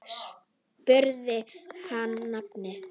Hún spurði hann að nafni.